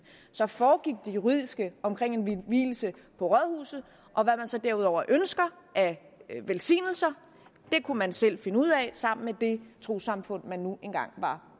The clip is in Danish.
foregik det juridiske omkring i en vielse på rådhuset og hvad man så derudover ønsker af velsignelser kunne man selv finde ud af sammen med det trossamfund man nu engang var